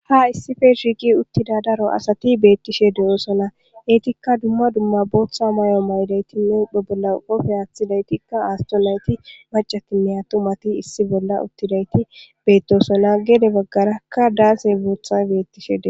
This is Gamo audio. Ha issife shiiqi uttida daro asati beettishe de'osona eytikka dumma dumma booththa may'o maydaytinne bobolla qofe aaththidaytikka aasto layti macatine ha tumati issi bolla uttidayti beettosona gede baggarakka daase bootha beettishe de